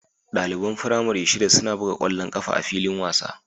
Ɗaliban firamare shida suna buga ƙwallon ƙafa a filin wasa